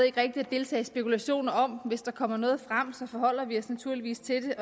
ikke rigtig at deltage i spekulationer om hvis der kommer noget frem forholder vi os naturligvis til